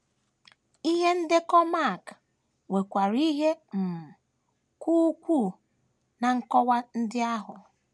Ihe ndekọ Mak nwekwara ihe um ka ukwuu ná nkọwa ndị ahụ.